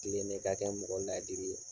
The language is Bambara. tilene i ka kɛ mɔgɔ laadiri ye.